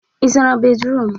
Ị zara bédrụum?